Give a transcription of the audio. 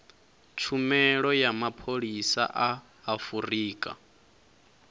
tshumelo ya mapholisa a afurika